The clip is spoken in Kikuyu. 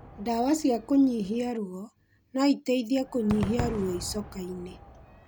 Ndawa cia kũnyihia ruo, noiteithie kũnyihia ruo icoka-inĩ